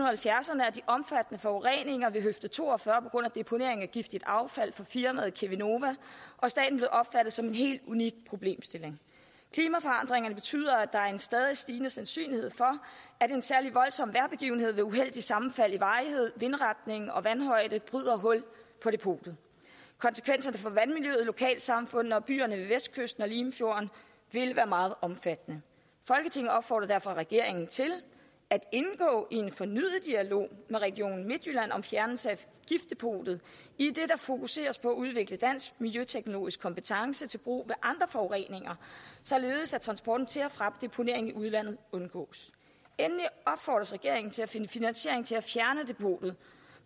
halvfjerdserne er de omfattende forureninger ved høfde to og fyrre på grund af deponering af giftigt affald fra firmaet cheminova og staten blevet opfattet som en helt unik problemstilling klimaforandringerne betyder at der er en stadig stigende sandsynlighed for at en særlig voldsom vejrbegivenhed med uheldigt sammenfald i varighed vindretning og vandhøjde bryder hul på depotet konsekvenserne for vandmiljøet lokalsamfundene og byerne ved vestkysten og limfjorden vil være meget omfattende folketinget opfordrer derfor regeringen til at indgå i en fornyet dialog med region midtjylland om fjernelse af giftdepotet idet der fokuseres på at udvikle dansk miljøteknologisk kompetence til brug andre forureninger således at transporten til og fra deponering i udlandet undgås endelig opfordres regeringen til at finde finansiering til at fjerne depotet